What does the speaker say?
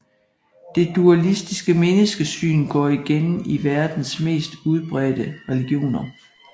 Det dualistiske menneskesyn går igen i verdens mest udbredte religioner